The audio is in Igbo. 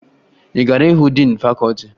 Ị gara hụ diin fakọọti?